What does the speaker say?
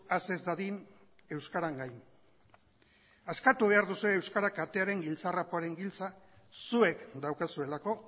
has ez dadin euskaran gain askatu behar duzue euskara katearen giltzarrapoaren giltza zuek daukazuelako